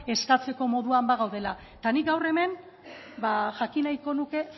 eskatzeko moduan bagaudela eta nik gaur hemen jakin nahiko nuke